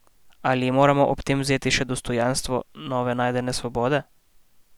Ali ji moramo ob tem vzeti še dostojanstvo novo najdene svobode?